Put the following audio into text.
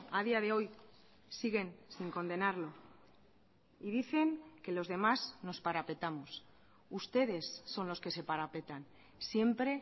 a día de hoy siguen sin condenarlo y dicen que los demás nos parapetamos ustedes son los que se parapetan siempre